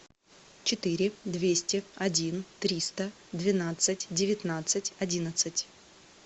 четыре двести один триста двенадцать девятнадцать одиннадцать